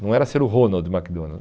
Não era ser o Ronald McDonald's.